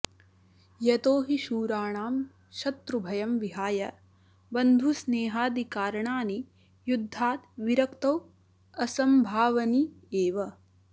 यतो हि शूराणां शत्रुभयं विहाय बन्धुस्नेहादिकारणानि युद्धाद् विरक्तौ असम्भावनि एव